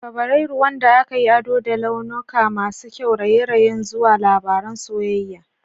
Fabrairu, wanda aka yi ado da launuka masu kyau, raye-rayen zuwa labaran soyayya.